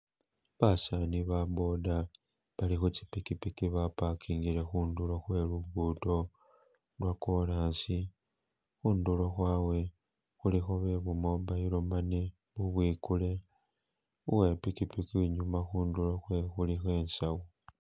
Basaani ba boda bali khu tsipikipiki ba pakingile khundulo khwe lugudo lwo korasi khundulo khwawe khulikho be bu mobile money bubwikule, uwe pikipiki inyuma khundulo khwewe khulikho insawo.